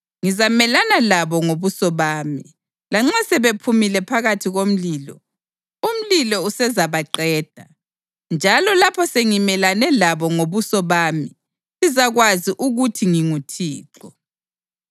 Ngizamelana labo ngobuso bami. Lanxa sebephumile phakathi komlilo, umlilo usezabaqeda. Njalo lapho sengimelane labo ngobuso bami, lizakwazi ukuthi nginguThixo.